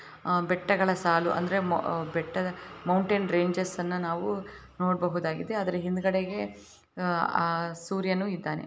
ಆ ಬೆಟ್ಟಗಳ ಸಾಲು ಅಂದ್ರೆ ಮೊ ಅಂದ್ರೆ ಬೆಟ್ಟದ ಮೌಂಟನ್ ರೆಂಜೆಸ್ ಅನ್ನ ನಾವು ನೋಡ್ಬಹುದ್ ಆಗಿದೆ ಆದ್ರೆ ಹಿಂದ್ಗಡೆಗೆ ಆ ಆ ಸೂರ್ಯನು ಇದಾನೆ.